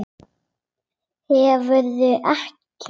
Hverfur ekki.